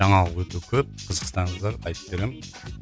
жаңалық өте көп қызықсаңыздар айтып беремін